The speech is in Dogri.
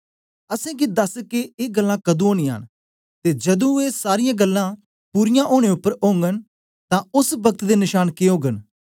असेंगी दस के ए गल्लां कदुं ओनियां न ते जदूं ए सारीयां गल्लां पूरीयां ओनें उपर ओगन तां ओस पक्त दे नशांन के ओगन